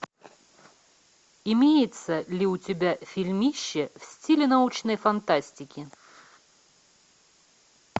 имеется ли у тебя фильмище в стиле научной фантастики